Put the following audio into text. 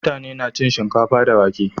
mutane na cin shinkafa da wake